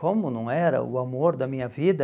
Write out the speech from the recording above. Como não era o amor da minha vida...